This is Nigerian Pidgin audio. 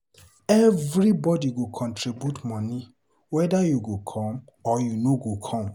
Everybodi go contribute moni weda you go come or you no go come.